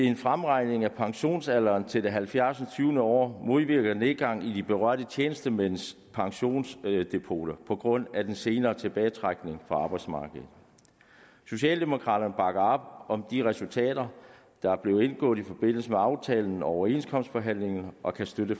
en fremregning af pensionsalderen til det halvfjerds år år modvirker nedgang i de berørte tjenestemænds pensionsdepoter på grund af den senere tilbagetrækning fra arbejdsmarkedet socialdemokraterne bakker op om de resultater der er blevet indgået i forbindelse med aftalen og overenskomstforhandlingerne og kan støtte